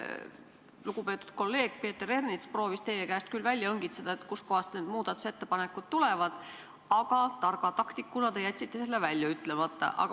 Lugupeetud kolleeg Peeter Ernits proovis teie käest küll välja õngitseda, kust kohast need muudatusettepanekud tulevad, aga targa taktikuna jätsite te selle välja ütlemata.